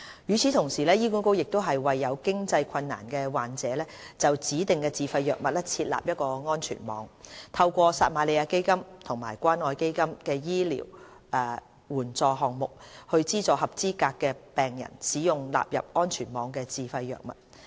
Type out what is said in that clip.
與此同時，醫管局亦為有經濟困難的患者就指定自費藥物設立安全網，透過撒瑪利亞基金和關愛基金醫療援助項目，資助合資格的病人使用納入安全網的自費藥物。